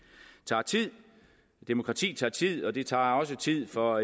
tager tid demokrati tager tid og det tager også tid for